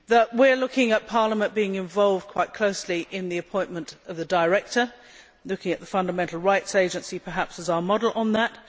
We are looking at Parliament being involved quite closely in the appointment of the director, looking at the Fundamental Rights Agency perhaps as our model on that.